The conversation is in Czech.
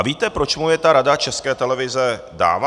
A víte, proč mu je ta Rada České televize dává?